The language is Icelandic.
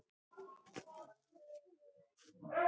Hún var fullkomnust andhverfa, sem við þekktum, við Svartaskóla.